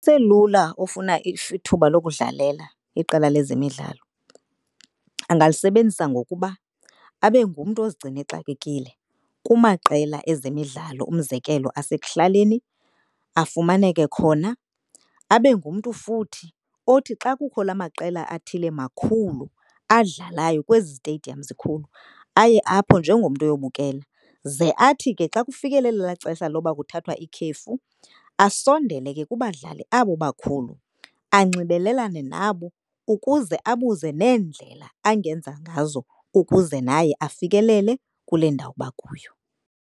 Uselula ofuna ithuba lokudlalela iqela lezemidlalo, angalisebenzisa ngokuba abe ngumntu ozigcina exakekile kumaqela ezemidlalo. Umzekelo, asekuhlaleni afumaneke khona, abe ngumntu futhi othi xa kukho la maqela athile makhulu adlalayo kwezi ziteyidiyamu zikhulu aye apho njengomntu uyobukela. Ze athi ke xa kufikelela ela xesha loba kuthathwa ikhefu asondele ke kubadlali abo bakhulu anxibelelane nabo ukuze abuze neendlela angenza ngazo ukuze naye afikelele kule ndawo bakuyo.